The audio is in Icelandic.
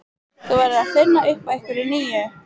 Þú verður að finna upp á einhverju nýju.